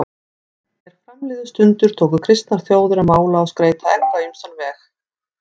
Er fram liðu stundir tóku kristnar þjóðir að mála og skreyta egg á ýmsan veg.